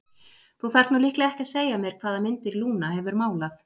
Þú þarft nú líklega ekki að segja mér hvaða myndir Lúna hefur málað.